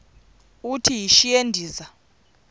uthi yishi endiza